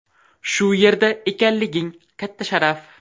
Shu yerda ekanliging katta sharaf.